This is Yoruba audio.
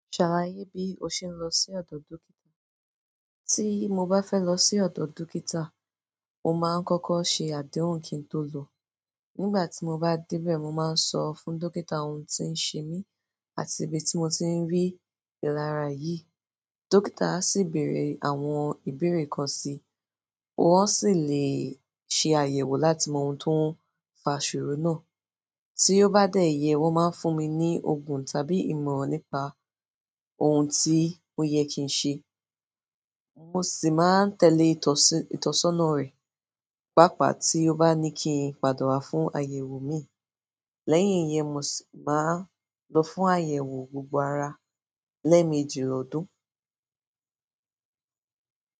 Ṣàláyé bí o ṣe ń lọ sí ọ̀dọ̀ dókítà. Tí mo bá fẹ́ lọ sí ọ̀dọ̀ dókítà, mo máa ń kọ́kọ́ ṣe àdéhùn kí n tó lọ. Nígbà tí mo bá dé bẹ̀, mo máa ń sọ fún dókítà ohun tí ń ṣe mí àti ibi tí mo ti ń ríi ìlara yìí. Dókítà sì ń bèèrè àwọn ìbéèrè kan síi, wọn sì lè ṣe àyẹ̀wò láti mọ ohun tó ń fa ìṣòro náà. Tí ó bá dé yẹ́, wọ́n máa ń fún mi ní òògùn tàbí ìmọ̀ràn nípa ohun tí ó yẹ kí n ṣe. Mo sì máa ń tẹ̀lé ìtọ̀sọ́nà rẹ̀. Pápa tí ó bá ní kí n pàdá wá fún àyẹ̀wò mi. Lẹ́yìn yẹn, mo sì máa lọ fún àyẹ̀wò gbogbo ara lẹ́ẹ̀mejì lọdún.